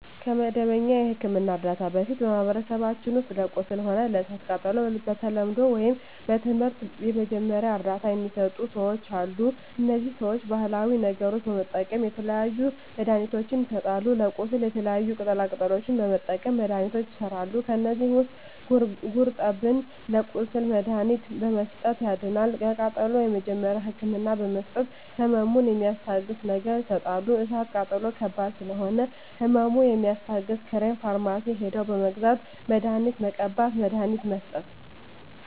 ከመደበኛ የሕክምና ዕርዳታ በፊት በማኀበረሰባችን ውስጥ ለቁስል ሆነ ለእሳት ቃጠሎው በተለምዶው ወይም በትምህርት የመጀመሪያ እርዳታ ሚሰጡ ሰዎች አሉ እነዚህ ሰዎች ባሀላዊ ነገሮች በመጠቀም የተለያዩ መድሀኒትችን ይሰጣሉ ለቁስል የተለያዩ ቅጠላ ቅጠሎችን በመጠቀም መድሀኒቶች ይሠራሉ ከዚህ ውስጥ ጉርጠብን ለቁስል መድሀኒትነት በመስጠት ያድናል ለቃጠሎ የመጀመሪያ ህክምና በመስጠት ህመሙን ሚስታግስ ነገር ይሰጣሉ እሳት ቃጠሎ ከባድ ስለሆነ ህመሙ የሚያስታግስ ክሬም ፈርማሲ ሄደው በመግዛት መድሀኒት መቀባት መድሀኒት መስጠት